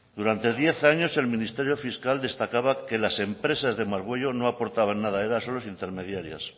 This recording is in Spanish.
durante diez años el ministerio fiscal destacaba que las empresas de margüello no aportaban nada eran solo intermediarias